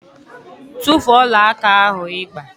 Tufuo ọlaaka ahụ ị gba!